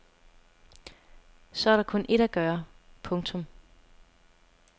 Så er der kun ét at gøre. punktum